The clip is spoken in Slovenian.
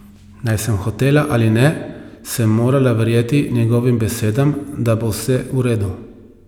Naj sem hotela ali ne, sem morala verjeti njegovim besedam, da bo vse v redu.